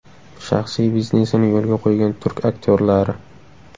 Shaxsiy biznesini yo‘lga qo‘ygan turk aktyorlari .